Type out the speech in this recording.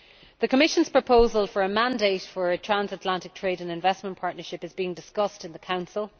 The Commission's proposal for a mandate for a Transatlantic Trade and Investment Partnership is being discussed in the Council.